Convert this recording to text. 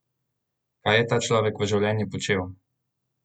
Kaj je ta človek v življenju počel?